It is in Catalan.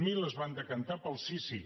zero es van decantar pel sí sí